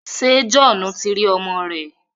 Ṣé Johnu ti rí ọmọ rẹ̀?